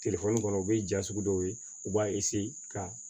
Telefɔni kɔnɔ o bɛ ja sugu dɔw ye u b'a ka